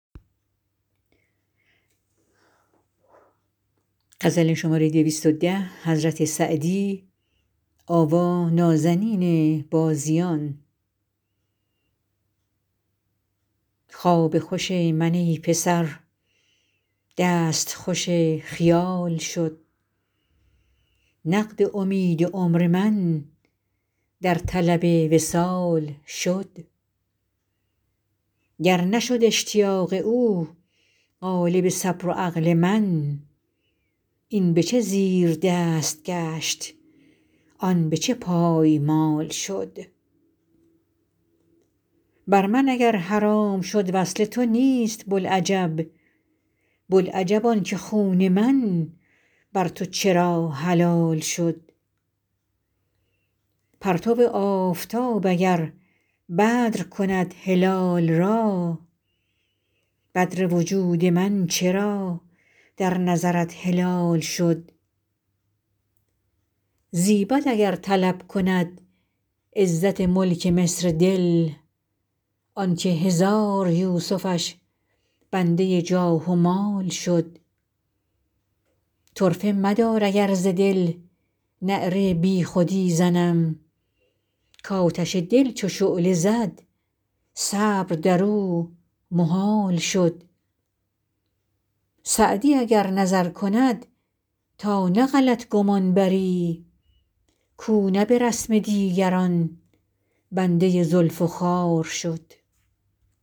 خواب خوش من ای پسر دست خوش خیال شد نقد امید عمر من در طلب وصال شد گر نشد اشتیاق او غالب صبر و عقل من این به چه زیردست گشت آن به چه پایمال شد بر من اگر حرام شد وصل تو نیست بوالعجب بوالعجب آن که خون من بر تو چرا حلال شد پرتو آفتاب اگر بدر کند هلال را بدر وجود من چرا در نظرت هلال شد زیبد اگر طلب کند عزت ملک مصر دل آن که هزار یوسفش بنده جاه و مال شد طرفه مدار اگر ز دل نعره بی خودی زنم کآتش دل چو شعله زد صبر در او محال شد سعدی اگر نظر کند تا نه غلط گمان بری کاو نه به رسم دیگران بنده زلف و خال شد